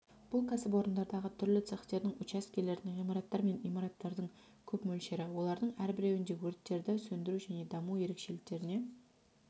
бұл кәсіпорындардағы түрлі цехтердің учаскелердің ғимараттар мен имараттардың көп мөлшері олардың әрбіреуінде өрттерді сөндіру және даму ерекшеліктеріне